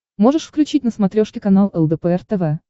можешь включить на смотрешке канал лдпр тв